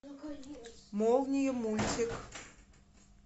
молния мультик